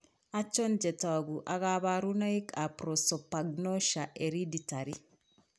Achon chetogu ak kaborunoik ab prosopagnosia, hereditary